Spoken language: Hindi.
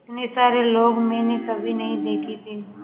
इतने सारे लोग मैंने कभी नहीं देखे थे